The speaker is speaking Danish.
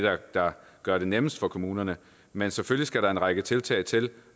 der gør det nemmest for kommunerne men selvfølgelig skal der en række tiltag til